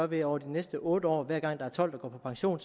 ved over de næste otte år at hver gang der er tolv der går på pension